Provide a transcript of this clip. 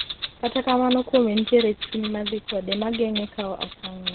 kata kamano kuome nitie chuny ma dhi kode ma geng’e kawo okang’ no.